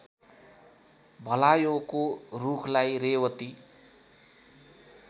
भलायोको रूखलाई रेवती